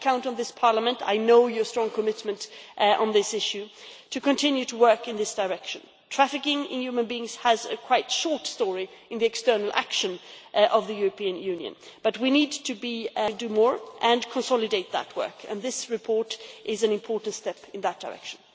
I count on this Parliament I know your strong commitment on this issue to continue to work in this direction. Trafficking in human beings has quite a short story in the external action of the European Union, but we need to do more and to consolidate that work, and this report is an important step in that direction.